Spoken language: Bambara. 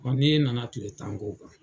Ɔn ni e nana kile tan k'o kan.